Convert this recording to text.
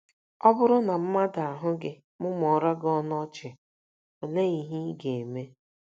Ọ BỤRỤ na mmadụ ahụ gị mụmụọrọ gị ọnụ ọchị, olee ihe ị ga - eme?